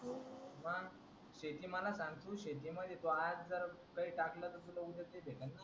मंग शेती मला सांग शेती मध्ये आज जर तू काय टाकलास त ते तुला उद्या भेटल ना